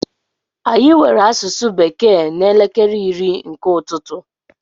Anyị nwere asụsụ bekee n'elekere iri nke ụtụtụ.